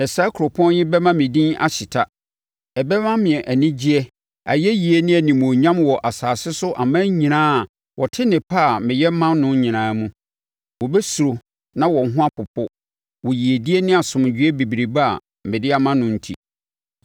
Na saa kuropɔn yi bɛma me din ahyeta. Ɛbɛma me anigyeɛ, ayɛyie ne animuonyam wɔ asase so aman nyinaa a wɔte nnepa a meyɛ ma no nyinaa mu; wɔbɛsuro na wɔn ho apopo wɔ yiedie ne asomdwoeɛ bebrebe a mede ma no enti.’